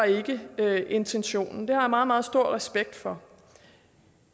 ikke var intentionen det har jeg meget meget stor respekt for